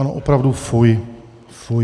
Ano, opravdu, fuj, fuj.